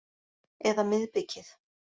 Eða miðbikið.